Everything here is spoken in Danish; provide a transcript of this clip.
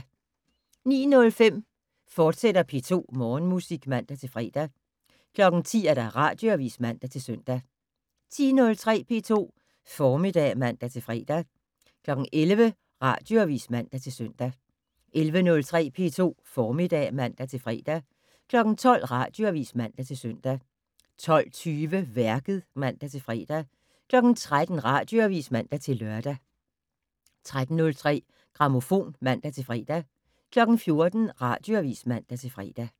09:05: P2 Morgenmusik, fortsat (man-fre) 10:00: Radioavis (man-søn) 10:03: P2 Formiddag (man-fre) 11:00: Radioavis (man-søn) 11:03: P2 Formiddag (man-fre) 12:00: Radioavis (man-søn) 12:20: Værket (man-fre) 13:00: Radioavis (man-lør) 13:03: Grammofon (man-fre) 14:00: Radioavis (man-fre)